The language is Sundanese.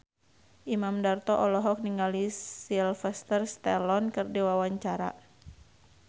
Imam Darto olohok ningali Sylvester Stallone keur diwawancara